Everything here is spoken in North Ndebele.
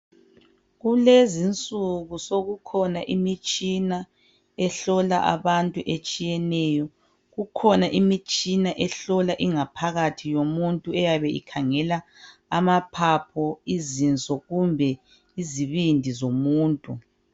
Kulezinsuku sokukhona imitshina ehlola abantu etshiyeneyo kukhona imitshina ehlola ingaphakathi yomuntu eyabe ikhangela amaphaphu izinso kumbe izibindi zomuntu.